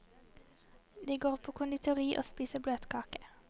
De går på konditori og spiser bløtekake.